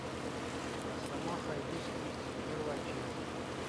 росомаха и люди икс первая часть